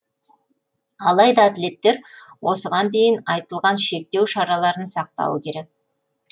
алайда атлеттер осыған дейін айтылған шектеу шараларын сақтауы керек